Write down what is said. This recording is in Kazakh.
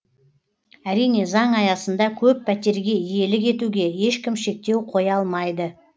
әрине заң аясында көп пәтерге иелік етуге ешкім шектеу қоя алмайды